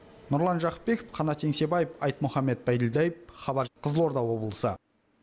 нұрлан жақыпбеков қанат еңсебаев айтмұханбет байділдаев хабар қызылорда облысы